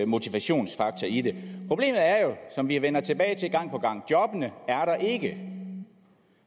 motivationsfaktor i det problemet som vi vender tilbage til gang på gang er jobbene er der ikke